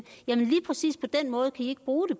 jamen lige præcis på den måde kan i ikke bruge det